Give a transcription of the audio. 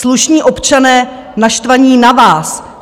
Slušní občané naštvaní na vás.